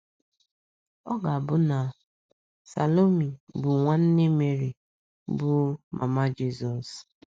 Ọ ga - abụ na Salomi bụ nwanne Meri, bụ́ mama Jizọs.